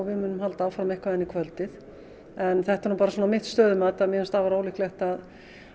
við munum halda áfram inn í kvöldið en það er bara svona mitt stöðumat að mér finnst afar ólíklegt að